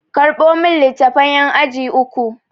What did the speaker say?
Karɓo min littafan ƴan aji uku!